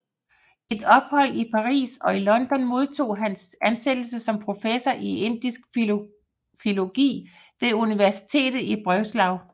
Efter et ophold i Paris og London modtog han ansættelse som professor i indisk filologi ved universitetet i Breslau